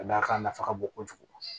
Ka d'a kan a nafa ka bon kojugu